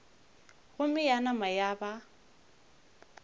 gomme ya nama ya ba